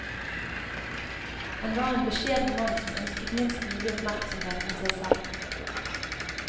Han var en beskjeden mann som ønsket minst mulig oppmerksomhet om seg selv.